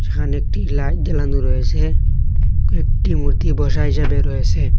এখানে একটি লাল দেনাদু রয়েছে কয়েকটি মূর্তি বসা হিসাবে রয়েসে।